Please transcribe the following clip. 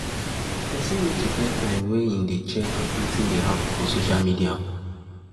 Person need to get time wey im dey check wetin dey happen for social media